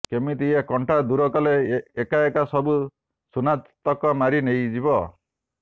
କେମିତି ଏ କଣ୍ଟା ଦୂର କଲେ ଏକା ଏକା ସବୁ ସୁନାତକ ମାରି ନେଇଯିବ